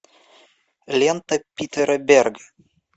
лента питера берга